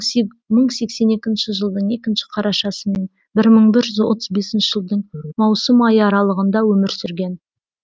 мың сексен екінші жылдың екінші қарашасы мен бір мың бір жүз отыз бесінші жылдың маусым айы аралығында өмір сүрген